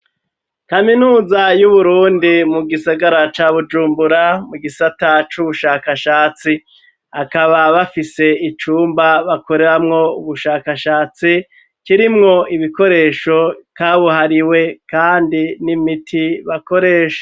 Kaminuza y'uburundi mu gisagara ca bujumbura mu gisata c'ubushakashatsi akaba bafise icumba bakoreramwo ubushakashatsi kirimwo ibikoresho kabuhariwe, kandi n'imiti bakoresha.